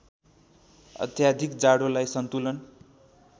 अत्याधिक जाडोलाई सन्तुलन